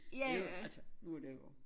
Det jo altså nu det